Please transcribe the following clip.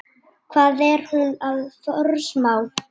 Hvað er hún að forsmá?